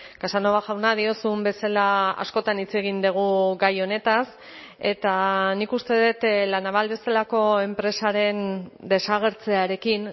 casanova jauna diozun bezala askotan hitz egin dugu gai honetaz eta nik uste dut la naval bezalako enpresaren desagertzearekin